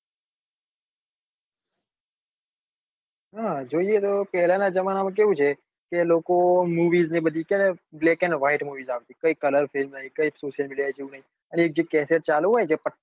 હા જોઈએ તો પેલા નાં જમાના માં કેવું છે કે લોકો movies ને બધું જોવે તો black and whitemovies આવતી કઈ કલર ની કોઈ social media જેવું નઈ અને જે કેસેટ ચાલુ હોય એ